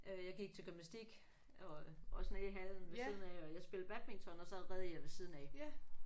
Øh jeg gik til gymnastik og også nede i hallen ved siden af og jeg spillede badminton og så red jeg ved siden af